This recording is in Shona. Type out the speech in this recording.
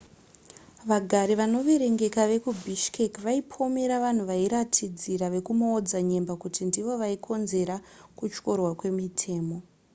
vagari vanoverengeka vekubishkek vaipomera vanhu vairatidzira vekumaodzanyemba kuti ndivo vaikonzera kutyorwa kwemitemo